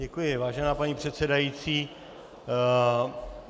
Děkuji, vážená paní předsedající.